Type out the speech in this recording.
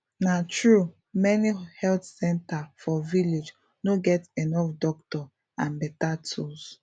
na true many health center for village no get enough doctor and better tools